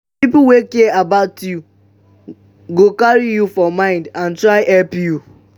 pipo wey care about you go carry you for mind and try help you